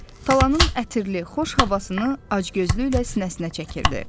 Talanın ətirli, xoş havasını acgözlüklə sinəsinə çəkirdi.